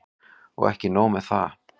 Og ekki nóg með það.